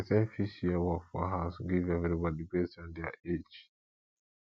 person fit share work for house give everybody based on their age